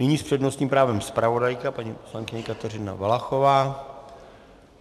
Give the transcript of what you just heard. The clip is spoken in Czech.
Nyní s přednostním právem zpravodajka paní poslankyně Kateřina Valachová.